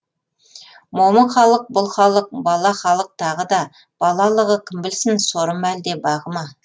момын халық бұл халық бала халық тағы да балалығы кім білсін соры ма әлде бағы ма